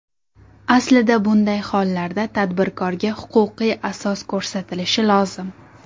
Aslida bunday hollarda tadbirkorga huquqiy asos ko‘rsatilishi lozim.